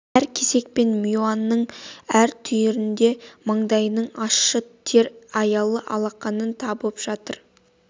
әр кесек пен миуаның әр түйірінде маңдайының ащы тер аялы алақанының табы жатыр